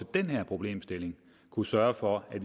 den her problemstilling og sørge for at